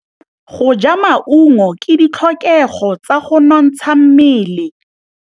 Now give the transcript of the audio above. Go ja maungo ke ditlhokegô tsa go nontsha mmele.